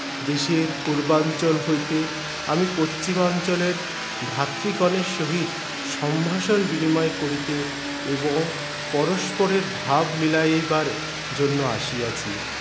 দেশের পূর্বাঞ্চল হইতে আমি পচ্চিমাঞ্চলের ভাতৃগণের সহিত সম্ভাষণ বিনিময় করিতে এবং পরষ্পরের ভাব মিলাইবার জন্য আসিয়াছি